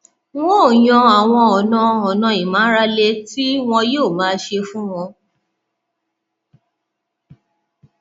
n ó yan àwọn ọnà ọnà ìmárale tí wọn yóò máa ṣe fún wọn